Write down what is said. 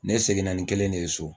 Ne seginna ni kelen ne ye so